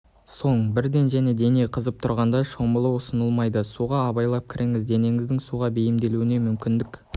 соң бірден және дене қызып тұрғанда шомылу ұсыныл-майды суға абайлап кіріңіз денеңіздің суға бейімделуіне мүмкіндік